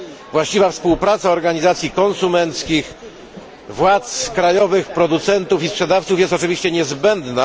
Właściwa współpraca organizacji konsumentów, władz krajowych, producentów i sprzedawców jest oczywiście niezbędna.